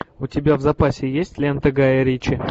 у тебя в запасе есть лента гая ричи